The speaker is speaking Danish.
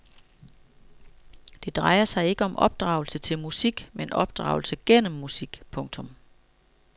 Det drejer sig ikke om opdragelse til musik men opdragelse gennem musik. punktum